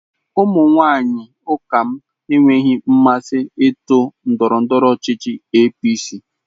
Ụmụ nwanyị ụka lm enweghị nmasị otu ndọrọndọrọ ọchịchị APC.